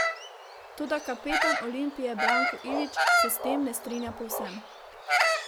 Toda kapetan Olimpije Branko Ilić se s tem ne strinja povsem.